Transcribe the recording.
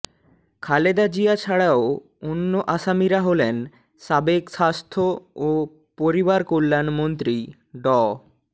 খালেদা জিয়া ছাড়াও অন্য আসামিরা হলেন সাবেক স্বাস্থ্য ও পরিবারকল্যাণমন্ত্রী ড